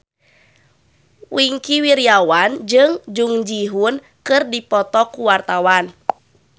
Wingky Wiryawan jeung Jung Ji Hoon keur dipoto ku wartawan